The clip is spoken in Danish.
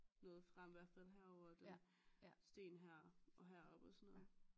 Noget frem i hvert fald herovre der sten her og heroppe og sådan noget